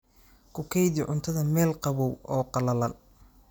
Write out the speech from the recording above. Ku kaydi cuntada meel qabow oo qallalan.